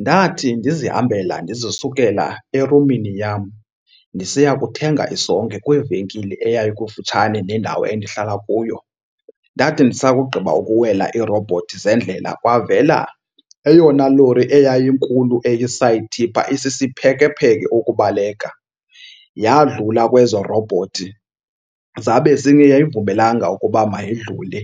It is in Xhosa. Ndathi ndizihambela ndizisukela erumini yam ndisiya kuthenga isonka kwivenkile eyayikufutshane nendawo endihlala kuyo. Ndathi ndisakugqiba ukuwela iirowubhothi zendlela kwavela eyona lori eyayinkulu eyi-side tipper isisiphekepheke ukubaleka. Yadlula kwezo rowubhothi zabe zingayivumelanga ukuba mayidlule.